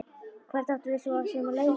Hvert áttum við svo sem að leita?